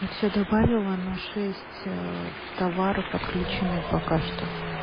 все добавила но шесть товаров отключены пока что